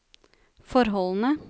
forholdene